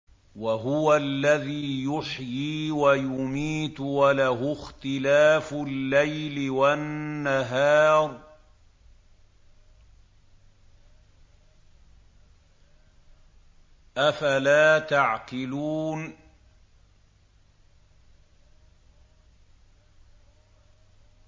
وَهُوَ الَّذِي يُحْيِي وَيُمِيتُ وَلَهُ اخْتِلَافُ اللَّيْلِ وَالنَّهَارِ ۚ أَفَلَا تَعْقِلُونَ